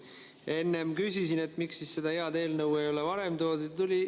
Enne ma küsisin, miks seda head eelnõu ei ole varem siia toodud.